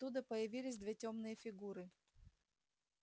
оттуда появились две тёмные фигуры